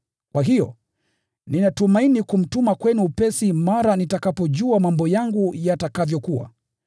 Kwa hiyo, ninatumaini kumtuma kwenu upesi mara nitakapojua mambo yangu yatakavyokuwa.